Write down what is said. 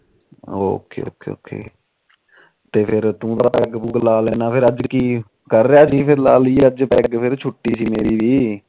ok ok ok ਫਿਰ ਤੂੰ ਤਾ ਪੈਗ ਪੁਗ ਲਾ ਲੈਂਦਾ ਫਿਰ ਅੱਜ ਕੀ ਕਰ ਰਿਹਾ ਜੀ ਅੱਜ ਫਿਰ ਲਾ ਲਈ ਛੂਟੀ ਸੀ ਮੇਰੀ ਵੀ